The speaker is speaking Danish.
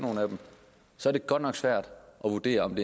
så er det godt nok svært at vurdere om